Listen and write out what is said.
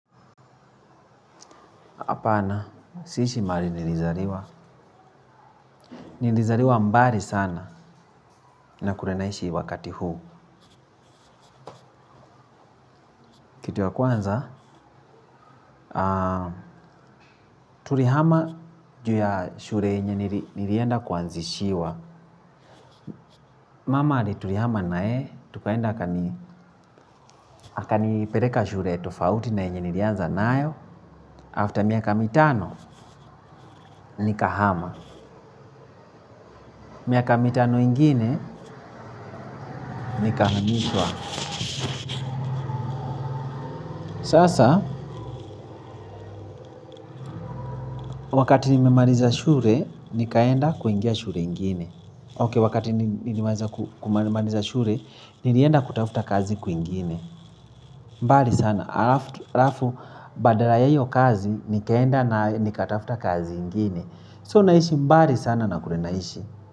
Hapana, siishi maali nilizaliwa. Nilizaliwa mbali sana na kule naishi wakati huu. Kitu ya kwanza, tulihama juu ya shule yenye nilienda kuanzishiwa. Mama ali tulihama nae, tukaenda akanipeleka shule tofauti na yenye nilianza nayo. After(baada ya) miaka mitano, nikahama. Miaka mitano mingine, nikahamishwa. Wakati nimemaliza shule, nikaenda kuingia shule ingine. Okay, wakati nimemaliza shule, nilienda kutafuta kazi sehemu nyingine. Mbali sana. Alafu baada ya iyo kazi, nikaenda na nikatafuta kazi ingine. So, naishi mbali sana na kule naishi.